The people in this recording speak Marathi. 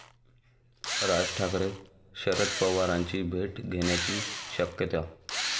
राज ठाकरे शरद पवारांची भेट घेण्याची शक्यता